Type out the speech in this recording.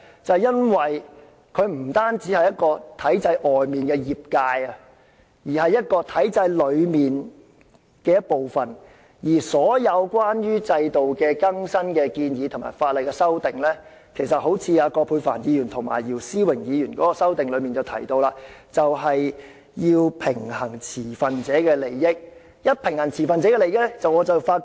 就是由於它不單是在體制外的業界，更是屬於體制內的一部分，而所有關於制度的更新建議和法例修訂，正如葛珮帆議員和姚思榮議員的修正案提到，要平衡持份者的利益才可能獲得通過。